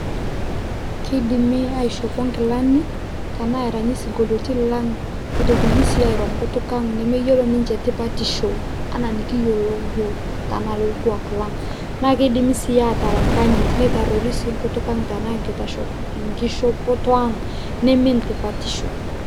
Kidimi aishopo nkilani, tanaa aranyi sinkolioitin lang',nitokini si airo nkutuk ang' nemeyiolo ninche tipatisho anaa nikiyiolo yiok, tana lo orkuak lang'. Na kidimi si atala nkayit nitarrori si nkutuk ang', tanaa nkitashot nkishopoto ang' nimin tipatisho.